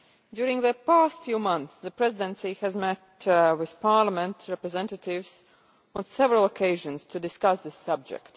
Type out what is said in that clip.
During the past few months, the Presidency has met with Parliament's representatives on several occasions to discuss this subject.